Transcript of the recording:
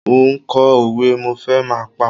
Mo ń kọ òwe, mo fẹ́ máa pá.